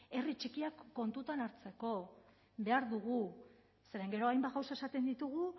herri txikiak kontuan hartzeko behar dugu zeren gero hainbat gauza esaten ditugu